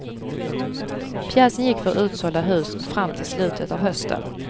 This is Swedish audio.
Pjäsen gick för utsålda hus fram till slutet av hösten.